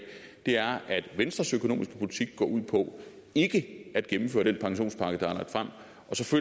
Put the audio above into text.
er at venstres økonomiske politik går ud på ikke at gennemføre den pensionspakke der er lagt frem